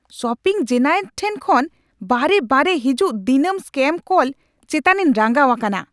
Shopping giant ᱴᱷᱮᱱ ᱠᱷᱚᱱ ᱵᱟᱨᱮᱼᱵᱟᱨᱮ ᱦᱤᱡᱩᱜ ᱫᱤᱱᱟᱹᱢ ᱥᱯᱮᱢ ᱠᱚᱞ ᱪᱮᱛᱟᱱᱤᱧ ᱨᱟᱸᱜᱟᱣ ᱟᱠᱟᱱᱟ ᱾